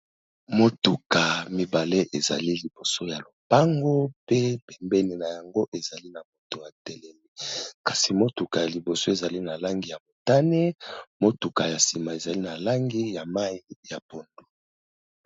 Motuka mibale ezali liboso ya lopango pe pembeni na yango ezali na moto a telemi. Kasi motuka ya liboso ezali na langi ya motane, motuka ya nsima ezali na langi ya mayi ya pondu.